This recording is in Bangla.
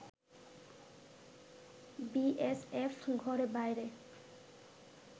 বিএসএফ ঘরে-বাইরে